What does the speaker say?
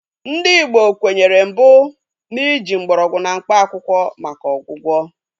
Ndị Igbo kwenyere mbụ na ị ji mgbọrọgwụ na mkpaakwụkwọ maka ọgwụgwọ